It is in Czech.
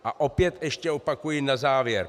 A opět ještě opakuji na závěr.